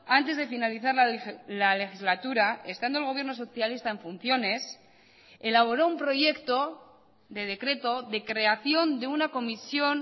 antes de finalizar la legislatura estando el gobierno socialista en funciones elaboró un proyecto de decreto de creación de una comisión